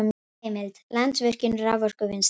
Heimild: Landsvirkjun- raforkuvinnsla